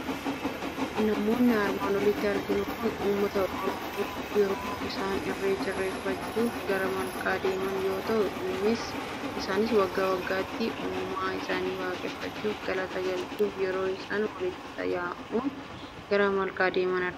Namoonni armaan olitti arginu Kun, uummata Oromoo yeroo isaan irreecha irreeffachuuf gara malkaa deeman yoo ta'u, isaanis waggaa waggaatti uumaa isaanii waaqeffachuuf, galata galchuuf yeroo isaan waliin ta'uun gara malkaa deeman argina.